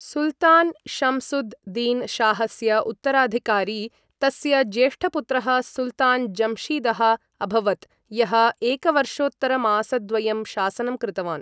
सुल्तान् शम्सुद् दीन शाहस्य उत्तराधिकारी तस्य ज्येष्ठपुत्रः सुल्तान् जम्शीदः अभवत्, यः एकवर्षोत्तरमासद्वयं शासनं कृतवान्।